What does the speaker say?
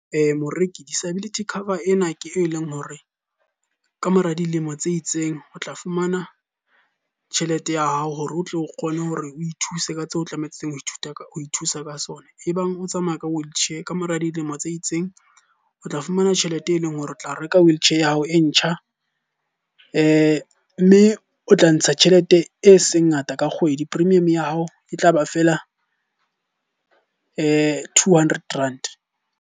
Moreki disability cover ena ke e leng hore, ka mora dilemo tse itseng o tla fumana tjhelete ya hao hore o tle o kgone hore o ithuse ka tseo tlamehileng ho ithuta ka ho ithusa ka sona. Ebang o tsamaya ka wheelchair, ka mora dilemo tse itseng, o tla fumana tjhelete e leng hore o tla reka wheelchair ya hao e ntjha. Mme o tla ntsha tjhelete e seng ngata ka kgwedi, premium ya hao e tlaba feela two hundred rand.